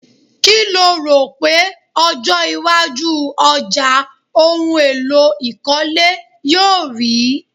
Kí lo rò pé ọjọ́ iwájú ọjà ohun èlò ìkólé yóò rì í?